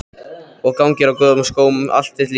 Og gangir á góðum skóm allt þitt líf.